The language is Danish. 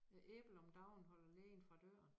Et æble om dagen holder lægen fra døren